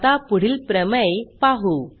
आता पुढील प्रमेय पाहू